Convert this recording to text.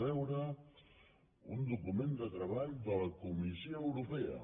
un document de treball de la comissió europea